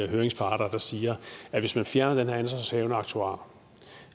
høringsparter der siger at hvis man fjerner den her ansvarshavende aktuar